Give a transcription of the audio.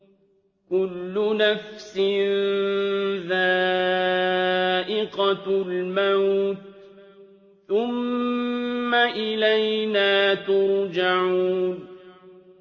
كُلُّ نَفْسٍ ذَائِقَةُ الْمَوْتِ ۖ ثُمَّ إِلَيْنَا تُرْجَعُونَ